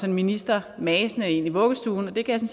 en minister masende ind i vuggestuen og det kan